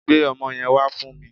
Gbe ọmọ yẹn wá fún mi